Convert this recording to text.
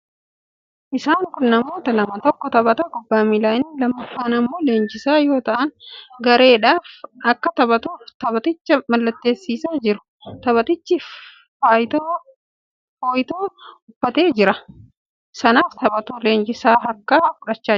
Isaan kun namoota lama; tokko taphataa kubbaa miilaa, inni lammaffaan immoo leenjisaa yoo ta'an, gareedhaaf akka taphatuuf taphaticha mallatteessisaa jiru. Taphatichis fooytuu uffatee garee sanaaf taphatu leenjisaa harkaa fudhachaa jira.